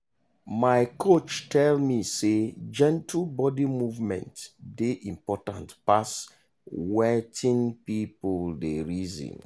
my coach tell me say gentle body movement dey important pass wetin people dey reason.